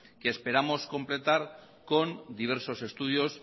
que esperamos completar con diversos estudios